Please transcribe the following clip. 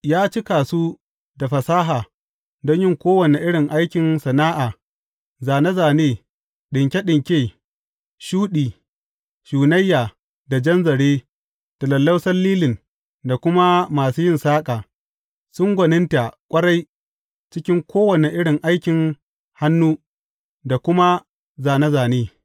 Ya cika su da fasaha don yin kowane irin aikin sana’a, zāne zāne, ɗinke ɗinke shuɗi, shunayya da jan zare, da lallausan lilin, da kuma masu yin saƙa, sun gwaninta ƙwarai cikin kowane irin aikin hannu da kuma zāne zāne.